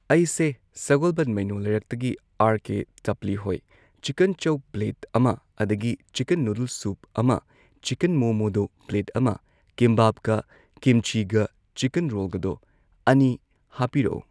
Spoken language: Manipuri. ꯑꯩꯁꯦ ꯁꯒꯣꯜꯕꯟ ꯃꯩꯅꯣ ꯂꯩꯔꯛꯇꯒꯤ ꯑꯥꯔ ꯀꯦ ꯇꯄꯂꯤ ꯍꯣꯏ ꯆꯤꯀꯟ ꯆꯧ ꯄ꯭ꯂꯦꯠ ꯑꯃ ꯑꯗꯒꯤ ꯆꯤꯀꯟ ꯅꯨꯗꯜ ꯁꯨꯞ ꯑꯃ ꯆꯤꯀꯟ ꯃꯣꯃꯣꯗꯣ ꯄ꯭ꯂꯦꯠ ꯑꯃ ꯀꯤꯝꯕꯥꯞꯀ ꯀꯤꯝꯆꯤꯒ ꯆꯤꯀꯟ ꯔꯣꯜꯒꯗꯣ ꯑꯅꯤ ꯍꯥꯞꯄꯤꯔꯛꯑꯣ